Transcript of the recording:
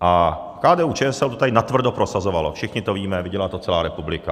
A KDU-ČSL to tady natvrdo prosazovalo, všichni to víme, viděla to celá republika.